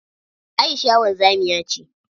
Aisha wanzamiya ce.